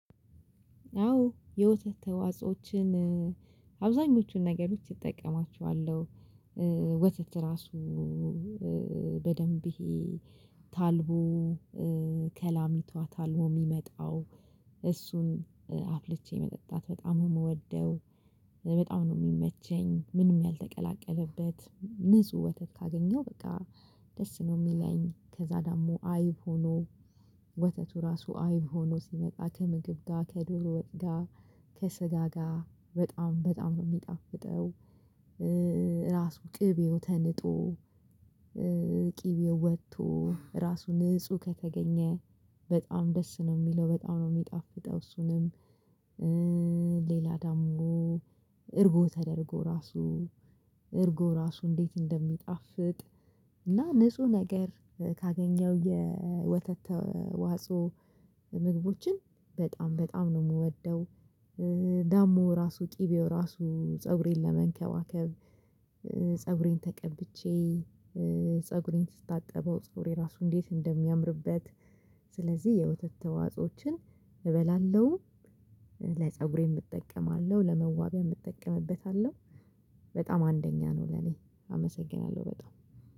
አዎ የወተት ተዋጽኦችን አብዛኞቹን ነገሮች እጠቀማቸዋለሁ። ወተት ራሱ በደንብ ይሄ ታልቦ ከላሚቷ ታልቦ የሚመጣው እሱን አፍልቼ መጠጣት በጣም ነው የምወደው በጣም ነው የሚመቸኝ። ምንም ያልተቀላቀለበት ንጹህ ወተት ካገኘው በቃ ደስ ነው የሚለኝ ከዛ ደግሞ አይብ ሆኖ ወተቱ ራሱ አይብ ሆኖ ሲመጣ ከምግብ ጋር ከዶሮ ወጥ ጋር ከስጋ ጋር በጣም በጣም ነው የሚጣፍጠው። ራሱ ቅቤው ተንጦ ቂቤው ወጥቶ ራሱ ንጹህ ከተገኘ በጣም ደስ ነው የሚለው በጣም ነው የሚጣፍጠው። እሱንም ሌላ ደግሞ እርጎ ተደርጎ ራሱ እርጎ ራሱ እንዴት እንደሚጣፍጥ እና ንጹህ ነገር ካገኘው የወተት ተዋጾኦ ምግቦችን በጣም በጣም ነው የምወደው። ደሞ ራሱ ቅቤው ራሱ ፀጉሬን ለመንከባከብ ፀጉሬን ተቀብቼ ፀጉሬን ስታጠበው ፀጉሬ ራሱ እንዴት እንደሚያምርበት። ስለዚህ የወተት ተዋጾዎችን እበላለሁ ለፀጉሬም እጠቀማለሁ ለመዋቢያም እጠቀምበታለሁ። በጣም አንደኛ ነው ለኔ አመሰግናለሁ በጣም